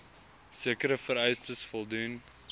sekere vereistes voldoen